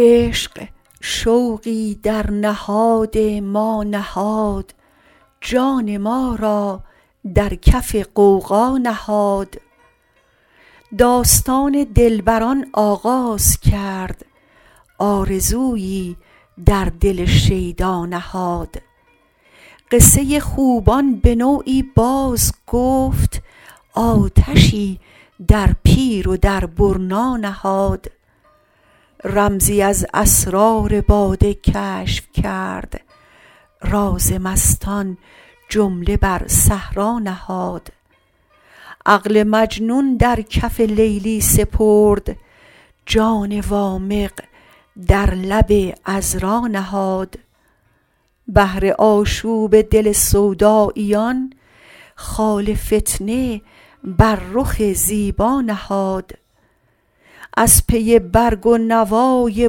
عشق شوقی در نهاد ما نهاد جان ما را در کف غوغا نهاد داستان دلبران آغاز کرد آرزویی در دل شیدا نهاد قصه خوبان به نوعی باز گفت آتشی در پیر و در برنا نهاد رمزی از اسرار باده کشف کرد راز مستان جمله بر صحرا نهاد عقل مجنون در کف لیلی سپرد جان وامق در لب عذرا نهاد بهر آشوب دل سوداییان خاک فتنه بر رخ زیبا نهاد از پی برگ و نوای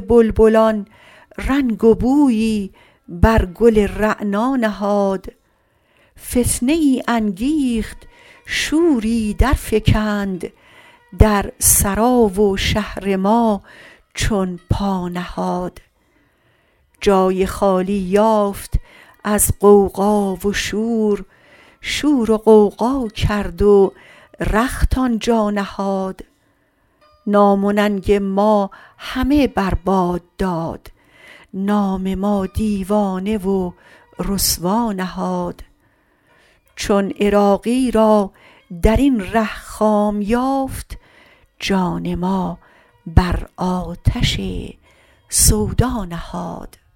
بلبلان رنگ و بویی بر گل رعنا نهاد فتنه ای انگیخت شوری درفکند در سرا و شهر ما چون پا نهاد جای خالی یافت از غوغا و شور شور و غوغا کرد و رخت آنجا نهاد نام و ننگ ما همه بر باد داد نام ما دیوانه و رسوا نهاد چون عراقی را درین ره خام یافت جان ما بر آتش سودا نهاد